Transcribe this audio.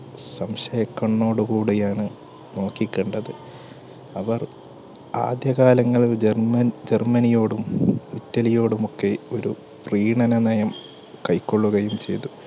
സംശയ കണ്ണോട് കൂടിയാണ് നോക്കി കണ്ടത്. അവർ ആദ്യകാലങ്ങളിൽ german ജർമ്മനിയോടും, ഇറ്റലിയോടും ഒക്കെ ഒരു പ്രീണന നയം കൈക്കൊള്ളുകയും ചെയ്തു.